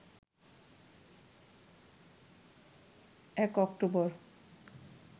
১ October